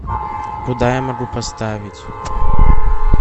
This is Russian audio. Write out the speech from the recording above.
куда я могу поставить